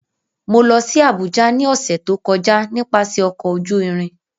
Mo lọ si Abuja ni ọsẹ to kọja nipasẹ ọkọ oju irin.